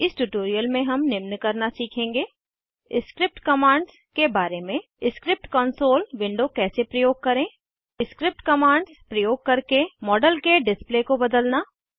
इस ट्यूटोरियल में हम निम्न करना सीखेंगे स्क्रिप्ट कमांड्स के बारे में स्क्रिप्ट कंसोल विंडो कैसे प्रयोग करें स्क्रिप्ट कमांड्स प्रयोग करके मॉडल के डिस्प्ले को बदलना